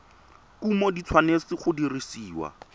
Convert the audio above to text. kumo di tshwanetse go dirisiwa